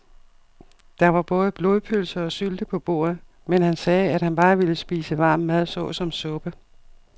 Der var både blodpølse og sylte på bordet, men han sagde, at han bare ville spise varm mad såsom suppe.